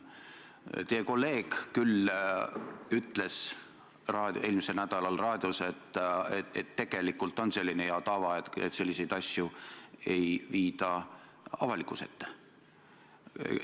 Kuigi teie kolleeg ütles eelmisel nädalal raadios, et tegelikult hea tava järgi selliseid asju avalikkuse ette ei viida.